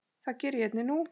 Það geri ég einnig nú.